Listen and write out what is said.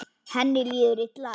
Henni líður illa.